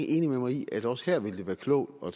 enig med mig i at også her vil det være klogt at